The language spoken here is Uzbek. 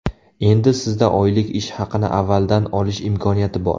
Endi Sizda oylik ish haqini avvaldan olish imkoniyati bor.